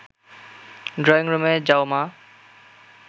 ড্রয়িংরুমে যাও, মা